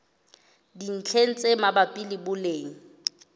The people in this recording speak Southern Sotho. dintlheng tse mabapi le boleng